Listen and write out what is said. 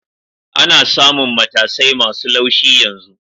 Ana samun matasai masu laushi yanzu